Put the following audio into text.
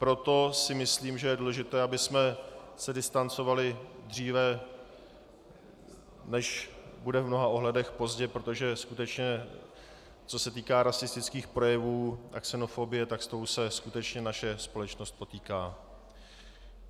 Proto si myslím, že je důležité, abychom se distancovali dříve, než bude v mnoha ohledech pozdě, protože skutečně, co se týká rasistických projevů a xenofobie, tak s tou se skutečně naše společnost potýká.